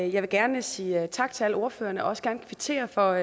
jeg vil gerne sige tak til alle ordførerne og også gerne kvittere for